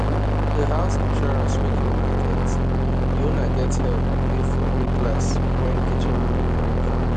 the house insurance wey the owner get the owner get help pay for new glass when kitchen window break